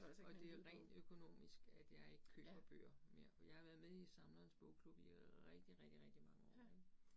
Og det er rent økonomisk, at jeg ikke køber bøger mere, for jeg har været med i Samlerens Bogklub i rigtig rigtig rigtig mange år ik